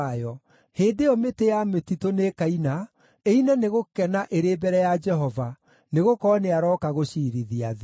Hĩndĩ ĩyo mĩtĩ ya mĩtitũ nĩĩkaina; ĩine nĩ gũkena ĩrĩ mbere ya Jehova, nĩgũkorwo nĩarooka gũciirithia thĩ.